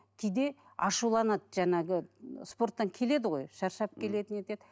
кейде ашуланады жаңағы спорттан келеді ғой шаршап келеді не етеді